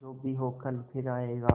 जो भी हो कल फिर आएगा